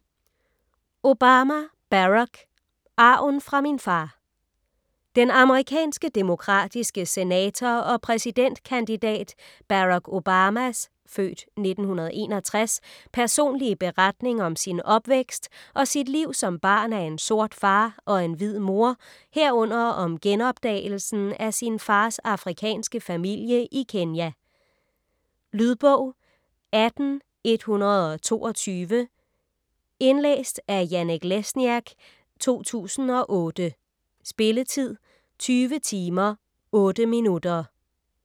Obama, Barack: Arven fra min far Den amerikanske demokratiske senator og præsidentkandidat Barack Obamas (f. 1961) personlige beretning om sin opvækst og sit liv som barn af en sort far og en hvid mor herunder om genopdagelsen af sin fars afrikanske familie i Kenya. Lydbog 18122 Indlæst af Janek Lesniak, 2008. Spilletid: 20 timer, 8 minutter.